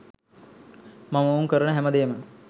මම ඔවුන් කරන හැමදේම